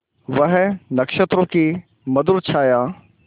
वह नक्षत्रों की मधुर छाया